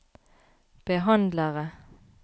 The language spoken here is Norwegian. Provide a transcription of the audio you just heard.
behandlere